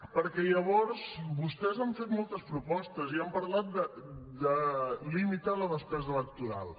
perquè llavors vostès han fet moltes propostes i han parlat de limitar la despesa electoral